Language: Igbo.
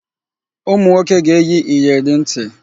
Ụmụnwoke ga-eyi iyeri ntị.